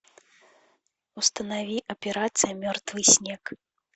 установи операция мертвый снег